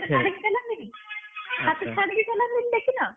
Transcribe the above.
ହାତ ଛାଡିକି ଚଲାନ୍ତିନି ହାତ ଛାଡିକି ଚଲାନ୍ତିନି ଦେଖିନ?